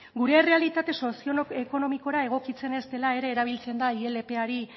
gure errealitate sozioekonomikora egokitzen ez dela ere erabiltzen da ilp ari